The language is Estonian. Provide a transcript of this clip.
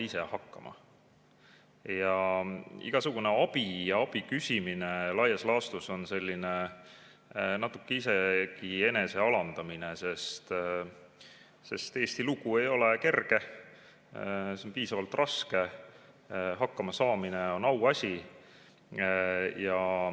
Igasugune abi ja abi küsimine on laias laastus isegi natuke ennast alandav, sest Eesti lugu ei ole kerge, see on piisavalt raske, ja hakkama saamine on auasi.